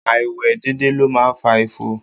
Áìwe dédé ló máa ń fa ifo.